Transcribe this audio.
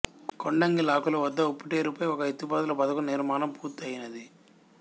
కొండంగి లాకుల వద్ద ఉప్పుటేరుపై ఒక ఎత్తిపోతల పథకం నిర్మాణం పూర్తి అయినది